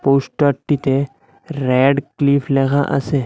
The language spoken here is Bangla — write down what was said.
পৌস্টার টিতে ব়্যাডক্লিফ লেখা আসে।